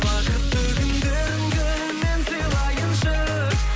бақытты күндеріңді мен сыйлайыншы